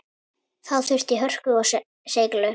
Þá þurfti hörku og seiglu.